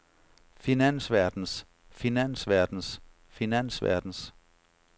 finansverdens finansverdens finansverdens